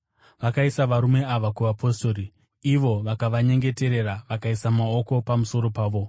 Vakaisa varume ava kuvapostori, ivo vakavanyengeterera vakaisa maoko pamusoro pavo.